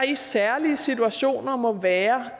i særlige situationer må være